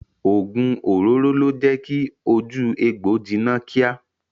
Ogun òróró le jẹ kí ojú egbò jiná kíá.